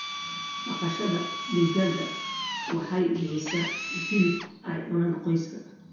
Dhaqashada digaaga waxay bixisaa hilib ay cunaan qoyska.